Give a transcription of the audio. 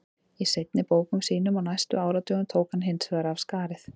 Í seinni bókum sínum á næstu áratugum tók hann hins vegar af skarið.